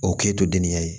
O k'e to denniya ye